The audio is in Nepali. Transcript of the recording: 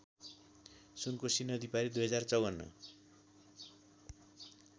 सुनकोशी नदीपारी २०५४